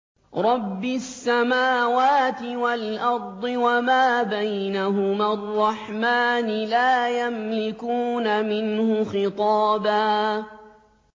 رَّبِّ السَّمَاوَاتِ وَالْأَرْضِ وَمَا بَيْنَهُمَا الرَّحْمَٰنِ ۖ لَا يَمْلِكُونَ مِنْهُ خِطَابًا